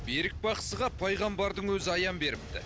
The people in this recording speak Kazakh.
берік бақсыға пайғамбардың өзі аян беріпті